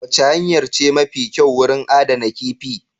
Wacce hanyar ce mafi kyau wurin adana kifi?